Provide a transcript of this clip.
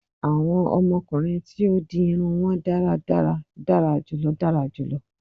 Awọn ọmọkunrin tí ó di irun won dáradára dara julọ dara julọ